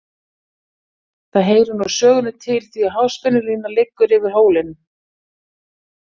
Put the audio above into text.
Það heyrir nú sögunni til því að háspennulína liggur yfir hólinn.